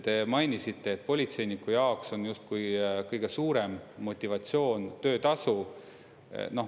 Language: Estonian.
Te mainisite, et politseiniku jaoks on justkui kõige suurem motivatsioon töötasu.